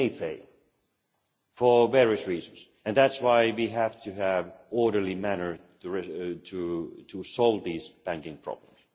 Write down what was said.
It may fail, for various reasons, and that is why we have to have an orderly manner to solve these banking problems.